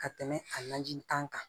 Ka tɛmɛ a lajini kan